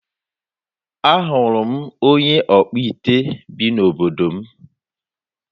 Ahụrụ m onye ọkpụite bi n'obodo m.